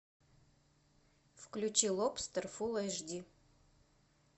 включи лобстер фул эйч ди